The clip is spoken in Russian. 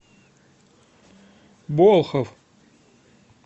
болхов